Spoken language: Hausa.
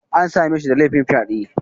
An same shi da laifin fyaɗe